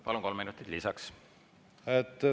Palun, kolm minutit lisaks!